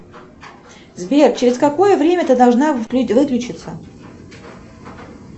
сбер через какое время ты должна выключиться